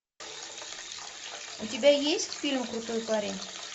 у тебя есть фильм крутой парень